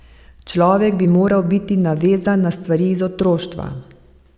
Človek bi moral biti navezan na stvari iz otroštva.